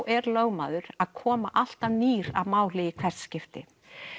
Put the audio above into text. er lögmaður að koma alltaf nýr að máli í hvert skipti